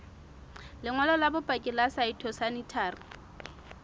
lengolo la bopaki la phytosanitary